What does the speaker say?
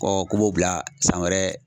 k'u b'o bila san wɛrɛ